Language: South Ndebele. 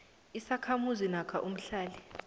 isakhamuzi namkha umhlali